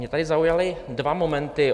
Mě tady zaujaly dva momenty.